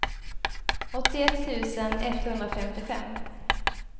åttioett tusen etthundrafemtiofem